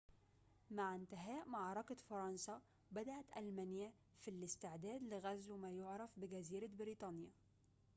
مع انتهاء معركة فرنسا بدأت ألمانيا في الاستعداد لغزو ما يُعرف بجزيرة بريطانيا